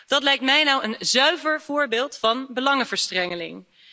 Dat lijkt mij nou een zuiver voorbeeld van belangenverstrengeling.